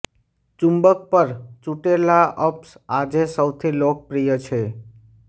ચુંબક પર ચૂંટેલા અપ્સ આજે સૌથી લોકપ્રિય છે